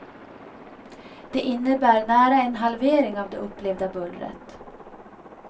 Det innebär nära en halvering av det upplevda bullret.